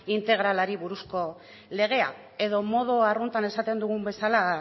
integralari buruzko legea edo modu arruntean esaten dugun bezala